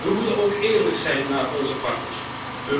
We moeten ook eerlijk zijn naar onze partners toe.